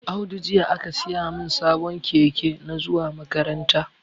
Audu jiya aka siyamin sabon keke na zuwa makaranta